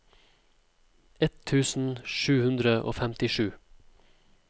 ett tusen sju hundre og femtisju